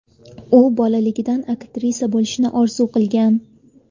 U bolaligidan aktrisa bo‘lishni orzu qilgan.